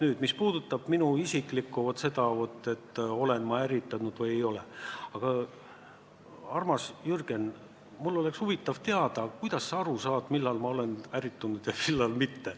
Aga mis puudutab minu isikut, seda, olen ma ärritunud või ei ole – armas Jürgen, mul oleks huvitav teada, kuidas sa aru saad, millal ma olen ärritunud ja millal mitte.